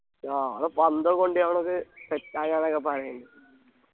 ആ ആട പന്തൊക്കെ കൊണ്ട് ഞങ്ങൾക് set ആക്കാന്നൊക്കെ പറയുണ്ട്